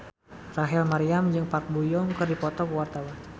Rachel Maryam jeung Park Bo Yung keur dipoto ku wartawan